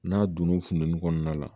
N'a donn'u funtɛni kɔnɔna la